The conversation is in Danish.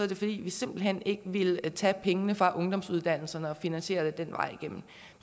det fordi vi simpelt hen ikke ville tage pengene fra ungdomsuddannelserne og finansiere det den vej igennem